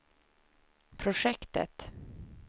projektet